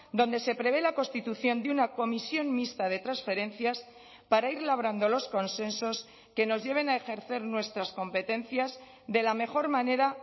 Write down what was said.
donde se prevé la constitución de una comisión mixta de transferencias para ir labrando los consensos que nos lleven a ejercer nuestras competencias de la mejor manera